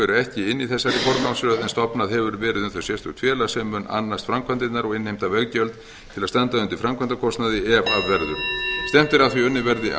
eru ekki inni í þessari forgangsröð en stofnað hefur verið um þau sérstakt félag sem mun annast framkvæmdirnar og innheimta veggjöld til að standa undir framkvæmdakostnaði ef af verður stefnt er